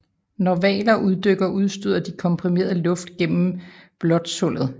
Når hvaler uddykker udstøder de komprimeret luft gennem blåsthullet